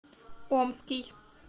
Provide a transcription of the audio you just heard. омский